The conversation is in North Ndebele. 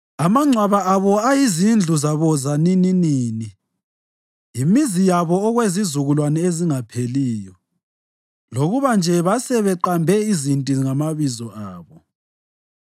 Amangcwaba abo ayizindlu zabo zanininini, yimizi yabo okwezizukulwane ezingapheliyo, lokuba nje basebeqambe iziqinti ngamabizo abo.